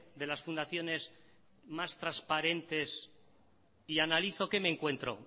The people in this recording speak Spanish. de las fundaciones más transparentes y analizo qué me encuentro